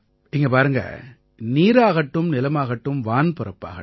இங்க பாருங்க நீராகட்டும் நிலமாகட்டும் வான்பரப்பாகட்டும்